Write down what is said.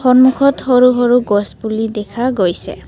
সন্মুখত সৰু সৰু গছ পুলি দেখা গৈছে।